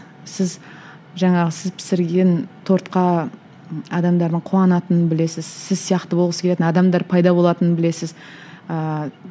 сіз жаңағы сіз пісірген тортқа адамдардың қуанатынын білесіз сіз сияқты болғысы келетін адамдар пайда болатынын білесіз ыыы